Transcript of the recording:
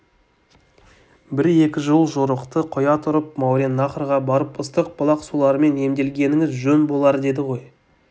бір-екі жыл жорықты қоя тұрып мауреннахрға барып ыстық бұлақ суларымен емделгеніңіз жөн болардеді ғой